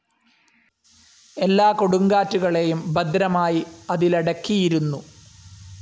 എല്ലാ കൊടുങ്കാറ്റുകളേയും ഭദ്രമായി അതിലടക്കിയിരുന്നു.